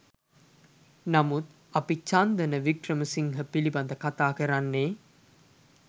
නමුත් අපි චන්දන වික්‍රමසිංහ පිළිබඳ කතා කරන්නේ